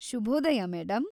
ಶುಭೋದಯ ಮೇಡಂ.